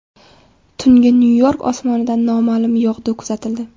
Tungi Nyu-York osmonida noma’lum yog‘du kuzatildi.